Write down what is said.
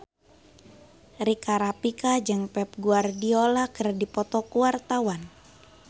Rika Rafika jeung Pep Guardiola keur dipoto ku wartawan